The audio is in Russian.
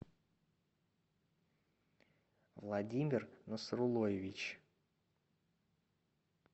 владимир насрулоевич